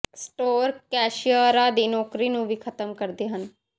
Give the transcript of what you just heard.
store ਕੈਸ਼ੀਅਰਾਂ ਦੀ ਨੌਕਰੀ ਨੂੰ ਵੀ ਖਤਮ ਕਰਦੇ ਹਨ